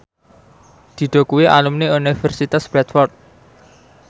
Dido kuwi alumni Universitas Bradford